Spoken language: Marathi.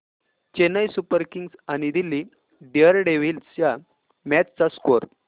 चेन्नई सुपर किंग्स आणि दिल्ली डेअरडेव्हील्स च्या मॅच चा स्कोअर